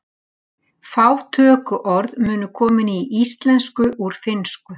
Fá tökuorð munu komin í íslensku úr finnsku.